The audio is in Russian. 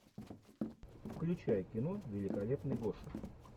включай кино великолепный гоша